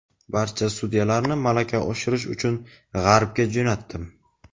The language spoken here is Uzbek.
barcha sudyalarni malaka oshirish uchun G‘arbga jo‘natdim.